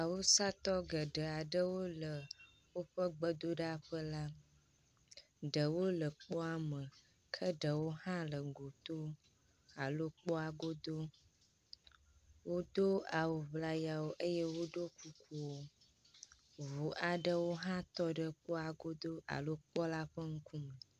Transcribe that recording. awusatɔ geɖeaɖewo le wóƒe gbedoɖaƒela ɖewo le kpoa me ke ɖewo hã le gotó alo kpɔa godó wodó awu ʋlayawo eye woɖó kukuwo ʋu aɖewo hã tɔɖe kpɔ la godó alo kpɔ la ƒe ŋkume